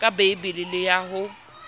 ka beile le ya ho